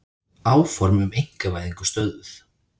Áform um einkavæðingu stöðvuð